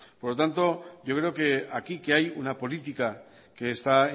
por lo tanto yo creo que aquí que hay una política que está